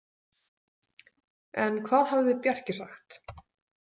En hvað hafði Bjarki sagt?